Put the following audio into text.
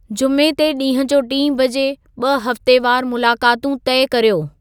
जुमे ते ॾींहं जो टीं बजे ॿ-हफ़्तेवारु मुलाक़ातूं तय कर्यो